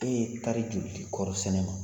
E ye tari joli de kɔɔri sɛnɛ?